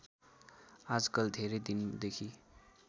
आजकल धेरै दिनदेखि